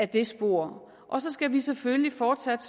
det spor og så skal vi selvfølgelig fortsat